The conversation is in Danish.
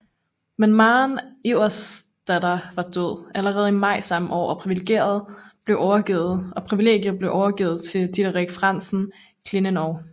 Men Maren Iversdatter var død allerede i maj samme år og privilegiet blev overgivet til Diderik Frandsen Klevenow